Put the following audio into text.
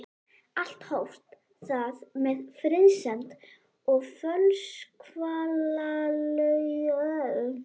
Allt hófst það með friðsemd og fölskvalausri gleði.